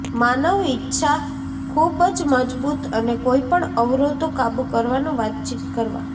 માનવ ઇચ્છા ખૂબ જ મજબૂત અને કોઈપણ અવરોધો કાબુ કરવાનો વાતચીત કરવા